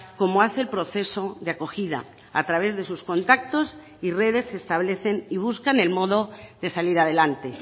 como hace el proceso de acogida a través de sus contactos y redes establecen y buscan el modo de salir adelante